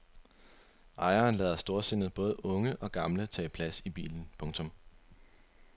Ejeren lader storsindet både unge og gamle tage plads i bilen. punktum